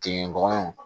Kin dɔgɔninw